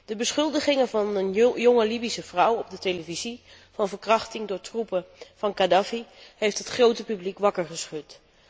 De beschuldigingen van een jonge Libische vrouw op de televisie van verkrachting door troepen van Kadhafi hebben het grote publiek wakker geschud.